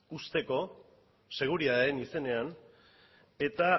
uzteko seguritatearen izenean eta